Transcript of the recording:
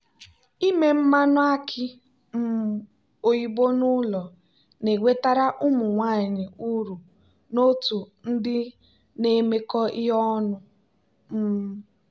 ime mmanụ aki um oyibo n'ụlọ na-ewetara ụmụ nwanyị uru n'otu ndị na-emekọ ihe ọnụ. um